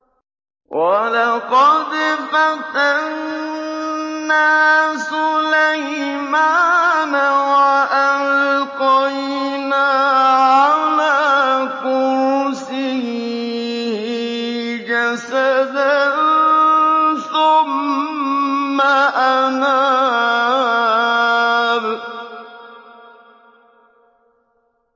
وَلَقَدْ فَتَنَّا سُلَيْمَانَ وَأَلْقَيْنَا عَلَىٰ كُرْسِيِّهِ جَسَدًا ثُمَّ أَنَابَ